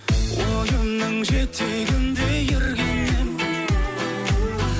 ойымның жетегінде ерген ем